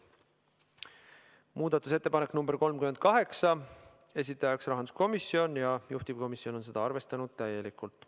Muudatusettepanek nr 38, esitajaks on rahanduskomisjon ja juhtivkomisjon on arvestanud seda täielikult.